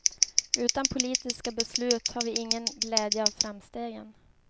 Utan politiska beslut har vi ingen glädje av framstegen.